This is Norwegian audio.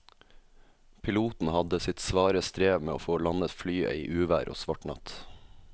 Piloten hadde sitt svare strev med å få landet flyet i uvær og svart natt.